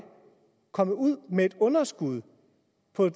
kommet ud med et underskud